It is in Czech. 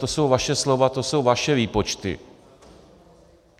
To jsou vaše slova, to jsou vaše výpočty.